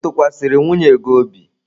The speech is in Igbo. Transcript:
Ị tụkwasịrị nwunye gị obi?